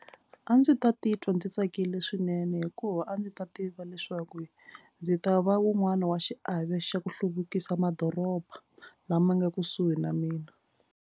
A ndzi ta titwa ndzi tsakile swinene hikuva a ndzi ta tiva leswaku ndzi ta va wun'wani wa xiave xa ku hluvukisa madoroba lama nga kusuhi na mina.